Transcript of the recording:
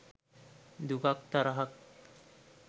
දුකක් තරහක්